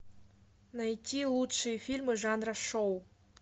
найти лучшие фильмы жанра шоу